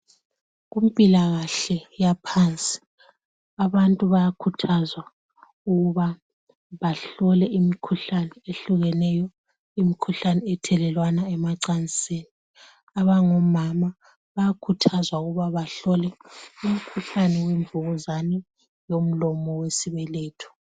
Kumpilakahle yaphansi abantu bayakhuthazwa ukuba bahlole imikhuhlane ehlukeneyo, imkhuhlane ethelelwana emacansini abangomama bayakhuthazwa ukuba bahlole umkhuhlane wemvukuzane yomlomo wesibeletho.